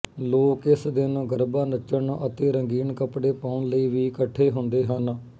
ਲੋਕ ਇਸ ਦਿਨ ਗਰਬਾ ਨੱਚਣ ਅਤੇ ਰੰਗੀਨ ਕੱਪੜੇ ਪਾਉਣ ਲਈ ਵੀ ਇਕੱਠੇ ਹੁੰਦੇ ਹਨ